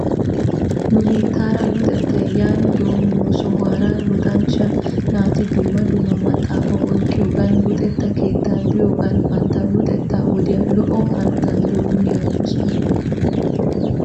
Nu biittaara luxettay yaani doomiyo sohuwaara luxanchcha naati dumma dumma maxxaafata oyqqiyoogan luxetta keettaa biyoogan bantta luxxeta wodiyaa lo''o hanotan doomi aggosona.